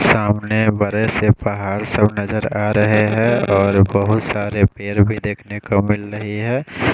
सामने बड़े से पहाड़ सब नज़र आरहे है और बहोत सारे पेड़ भी देखने को मिल रहे है।